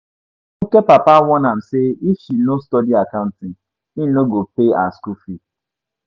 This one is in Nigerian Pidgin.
Funke papa warn am say if she no study accounting, im no go pay her school fees